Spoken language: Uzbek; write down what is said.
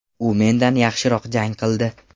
U mendan yaxshiroq jang qildi.